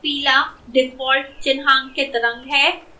पीला default चिन्हांकित रंग है